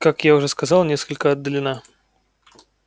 как я уже сказал несколько отдалена